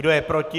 Kdo je proti?